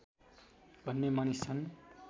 भन्ने मानिस छन्